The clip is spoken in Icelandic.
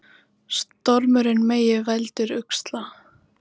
Stormurinn Megi veldur usla